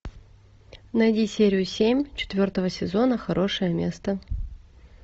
найди серию семь четвертого сезона хорошее место